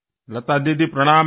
लतादीदी नमस्कार